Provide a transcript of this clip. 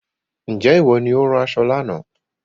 Ǹjẹ́ ìwọ ni ó rán aṣọ lánàá